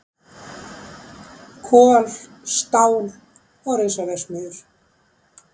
Kol, stál og risaverksmiðjur.